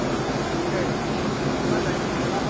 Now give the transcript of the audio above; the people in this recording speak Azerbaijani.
Oldu, oldu.